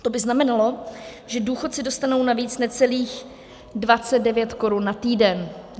To by znamenalo, že důchodci dostanou navíc necelých 29 korun na týden.